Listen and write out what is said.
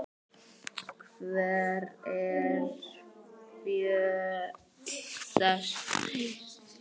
Hver eru fjöll þessi?